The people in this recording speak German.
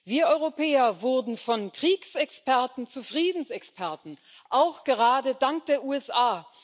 Wir Europäer wurden von Kriegsexperten zu Friedensexperten, auch gerade dank der USA.